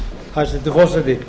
hæstvirtur forseti